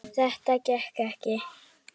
Þetta gekk ekki.